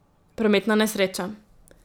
Prometna nesreča.